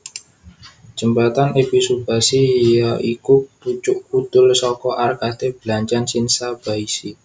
Jembatan Ebisubashi ya iku pucuk kudul saka arkade blanjan Shinsaibashi